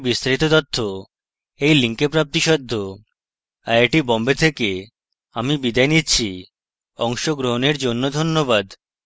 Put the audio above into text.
I I T Bombay থেকে আমি বিদায় নিচ্ছি অংশগ্রহনের জন্যে ধন্যবাদ